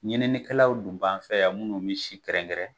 Ɲininikɛlaw dun b'an fɛ yan minnu bɛ si kɛrɛnkɛrɛn.